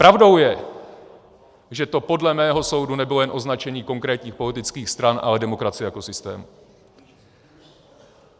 Pravdou je, že to podle mého soudu nebylo jen označení konkrétních politických stran, ale demokracie jako systému.